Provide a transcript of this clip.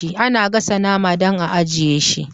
Ana gasa nama dan a ajjiye shi